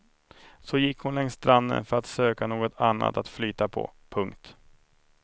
Så gick hon längs stranden för att söka något annat att flyta på. punkt